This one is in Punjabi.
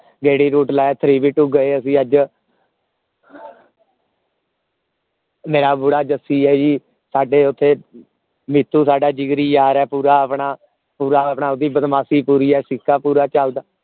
ਗੇੜੀ route ਲਾਇਆ three b two ਗਏ ਅਸੀਂ ਅਜ ਮੇਰਾ ਬੁੱਢਾ ਜੱਸੀ ਏ ਜੀ ਸਾਡੇ ਓਥੇ ਮਿੱਠੂ ਸਾਡਾ ਜਿਗਰੀ ਯਾਰ ਹੈ ਪੂਰਾ ਆਪਣਾ ਪੂਰਾ ਆਪਣਾ ਓਹਦੀ ਬਦਮਾਸ਼ੀ ਪੂਰੀ ਹੈ ਸਿੱਕਾ ਪੋਰ ਚਲਦਾ